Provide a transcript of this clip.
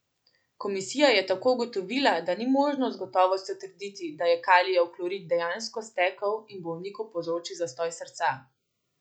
Komisija je tako ugotovila, da ni možno z gotovostjo trditi, da je kalijev klorid dejansko stekel in bolniku povzročil zastoj srca.